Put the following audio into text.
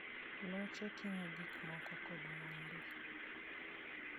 Loche ting'o gik moko kod mwandu.